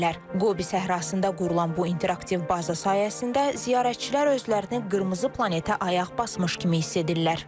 Qobi səhrasında qurulan bu interaktiv baza sayəsində ziyarətçilər özlərini qırmızı planetə ayaq basmış kimi hiss edirlər.